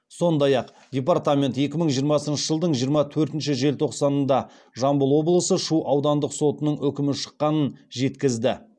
сондай ақ департамент екі мың жиырмасыншы жылдың жиырма төртінші желтоқсанында жамбыл облысы шу аудандық сотының үкімі шыққанын жеткізді